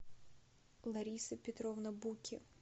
лариса петровна буки